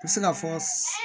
N bɛ se ka fɔ